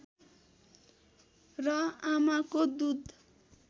र आमाको दूध